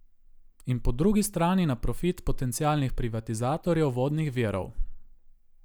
In po drugi strani na profit potencialnih privatizatorjev vodnih virov.